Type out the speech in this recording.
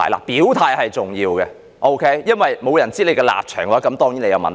表態是重要的，因為如果沒有人知道你的立場的話，這便是你的問題。